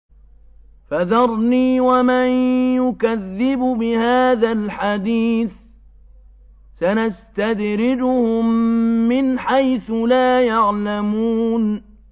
فَذَرْنِي وَمَن يُكَذِّبُ بِهَٰذَا الْحَدِيثِ ۖ سَنَسْتَدْرِجُهُم مِّنْ حَيْثُ لَا يَعْلَمُونَ